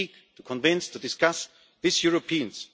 to speak, to convince, to discuss with Europeans.